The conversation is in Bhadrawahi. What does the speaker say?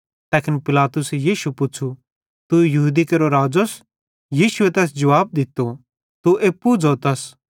तैखन पिलातुसे यीशुए पुच़्छ़ू तू यहूदी केरो राज़ोस यीशु तैस जुवाब दित्तो तू एप्पू ज़ोतस